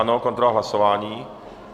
Ano, kontrola hlasování.